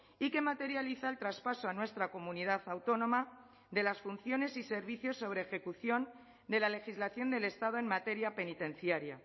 y que materializa el traspaso a nuestra comunidad autónoma de las funciones y servicios sobre ejecución de la legislación del estado en materia penitenciaria